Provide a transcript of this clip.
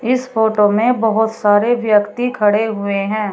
इस फोटो में बहुत सारे व्यक्ति खड़े हुए है।